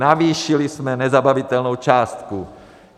Navýšili jsme nezabavitelnou částku.